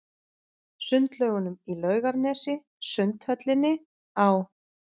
Sundlaugunum í Laugarnesi, Sundhöllinni, á